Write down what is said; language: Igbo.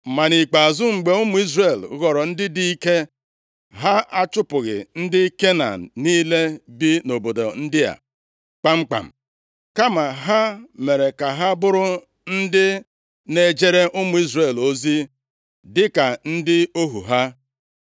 Ma nʼikpeazụ, mgbe ụmụ Izrel ghọrọ ndị dị ike, ha achụpụghị ndị Kenan niile bi nʼobodo ndị a kpamkpam, kama ha mere ka ha bụrụ ndị na-ejere ụmụ Izrel ozi, dịka ndị ohu ha.